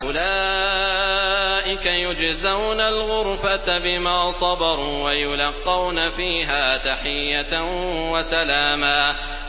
أُولَٰئِكَ يُجْزَوْنَ الْغُرْفَةَ بِمَا صَبَرُوا وَيُلَقَّوْنَ فِيهَا تَحِيَّةً وَسَلَامًا